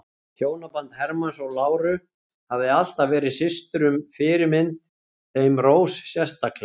Hjónaband Hermanns og láru hafði alltaf verið systrunum fyrirmynd, þeim Rós sérstaklega.